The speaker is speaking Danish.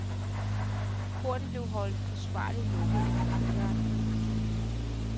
Porten blev holdt forsvarligt lukket efter fyraften. punktum